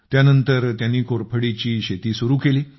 त्यानंतर त्यांनी कोरफडीची शेती सुरू केली